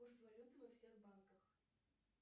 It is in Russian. курс валюты во всех банках